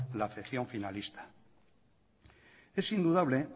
la afección finalista es indudable